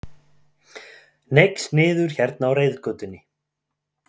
Hneigst niður hérna á reiðgötunni.